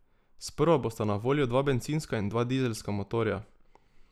Sprva bosta na voljo dva bencinska in dva dizelska motorja.